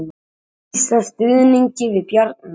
Lýsa stuðningi við Bjarna